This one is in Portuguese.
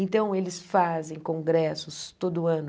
Então, eles fazem congressos todo ano.